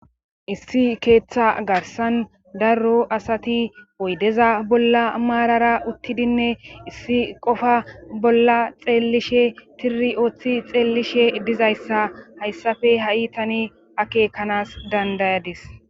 Issi keeththa garsan darro asati oydeza bolla maarara uttidinne issi qofa bolla xeellishe tiri ooththi xeellishe dizayssa hayssafe ha7i tani akekanas dandayadis.